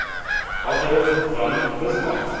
otto von bismarck